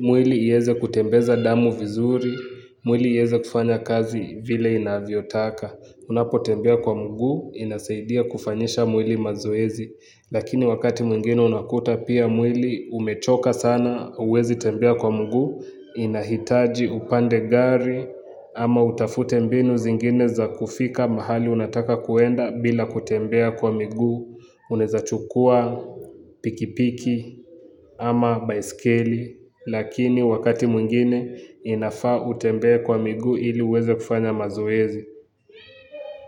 mwili ieze kutembeza damu vizuri, mwili ieze kufanya kazi vile inavyotaka. Unapotembea kwa mguu, inasaidia kufanyisha mwili mazoezi, lakini wakati mwingine unakuta pia mwili umechoka sana, huwezi tembea kwa mguu, inahitaji upande gari, ama utafute mbinu zingine za kufika mahali unataka kuenda bila kutembea kwa miguu, unaeza chukua pikipiki ama baiskeli, lakini wakati mwingine inafaa utembee kwa miguu ili uweze kufanya mazoezi.